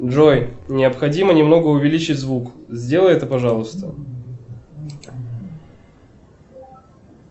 джой необходимо немного увеличить звук сделай это пожалуйста